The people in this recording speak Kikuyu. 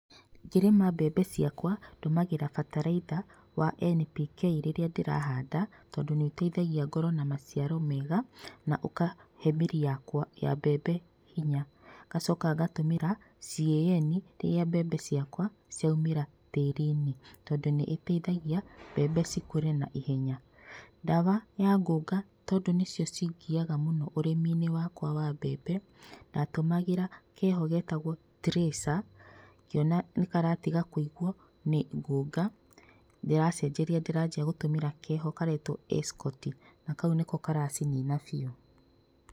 Ngĩrĩma mbembe ciakwa ndũmagĩra bataraitha wa NPK rĩrĩa ndĩrahanda tondũ nĩũteithagia ngorwo na maciaro mega, na ũkahe mĩri ya mbembe hinya. Ngacoka ngatũmĩra CAN rĩrĩa mbembe ciakwa ciaumĩra tĩrinĩ, tondũ nĩĩteithagia mbembe cikũre na ihenya. Ndawa ya ngũnga tondũ nĩcio cingiyaga mũno ũrĩminĩ wa mbembe ndatũmagĩra keho getagwo tracerngĩona nĩkaratiga kũigwo nĩ ngũnga ndĩracenjeria ndĩranjĩa gũtũmĩra keho karetwo escoti na kau nĩko karacinina biũ.